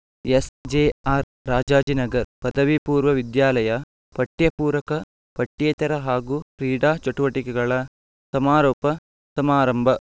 SJR Rajajinagar ಪದವಿ ಪೂರ್ವ ವಿದ್ಯಾಲಯ ಪಠ್ಯಪೂರಕ ಪಠ್ಯೇತರ ಹಾಗೂ ಕ್ರೀಡಾ ಚಟುವಟಿಕೆಗಳ ಸಮಾರೋಪ ಸಮಾರಂಭ